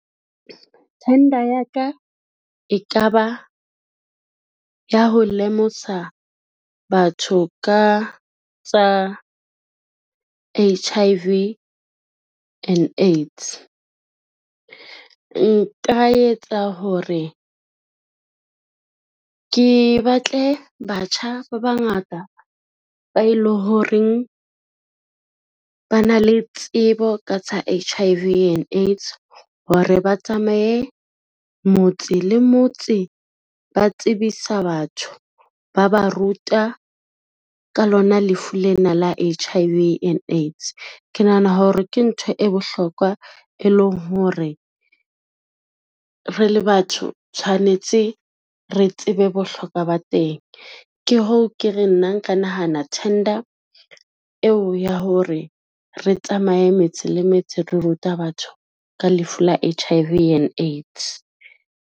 Tender ya ka e ka ba, ya ho lemosa batho ka tsa H_I_V and AIDS. Nka etsa hore ke batle batjha ba bangata ba e le horeng ba na le tsebo ka tsa H_I_V and AIDS hore ba tsamaye motse le motse ba tsebisa batho, ba ba ruta ka lona lefu lena la H_I_V and AIDS. Ke nahana hore ke ntho e bohlokwa, e leng hore re le batho tshwanetse re tsebe bohlokwa ba teng, ke hoo ke re nna nka nahana tender eo ya hore re tsamaye metse le metse, re ruta batho ka lefu la H_I_V and AIDS.